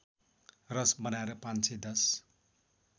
रस बनाएर ५१०